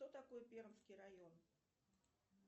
кто такой пермский район